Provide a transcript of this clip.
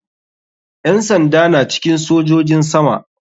Yan sanda na cikin sojojin sama